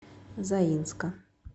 заинска